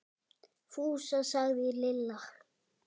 Fúsa! sagði Lilla.